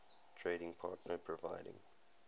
trading partner providing